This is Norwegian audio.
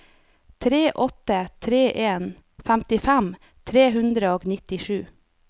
tre åtte tre en femtifem tre hundre og nittisju